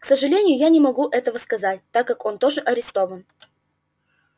к сожалению я не могу этого сказать так как он тоже арестован